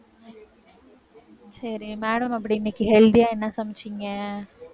சரி, madam அப்படி இன்னைக்கு healthy ஆ என்ன சமைச்சீங்க?